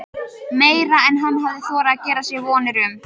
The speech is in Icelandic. Meira en hann hafði þorað að gera sér vonir um.